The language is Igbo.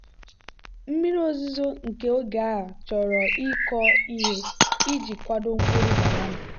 mmiri ozuzo nke oge a chọrọ ịkọ ihe iji kwado mkpụrụ banana.